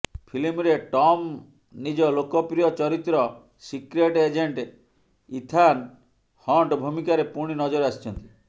ଫିଲ୍ମରେ ଟମ ନିଜ ଲୋକପ୍ରିୟ ଚରିତ୍ର ସିକ୍ରେଟ୍ ଏଜେଣ୍ଟ ଇଥାନ ହଣ୍ଟ ଭୁମିକାରେ ପୁଣି ନଜର ଆସିଛନ୍ତି